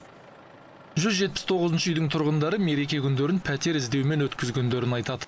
жүз жетпіс тоғызыншы үйдің тұрғындары мереке күндерін пәтер іздеумен өткізгендерін айтады